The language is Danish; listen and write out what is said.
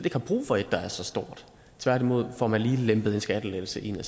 har brug for et der er så stort tværtimod får man lige lempet en skattelettelse ind